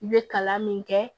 I bɛ kalan min kɛ